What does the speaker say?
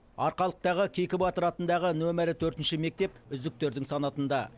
арқалықтағы кейкі батыр атындағы нөмірі төртінші мектеп үздіктердің санатында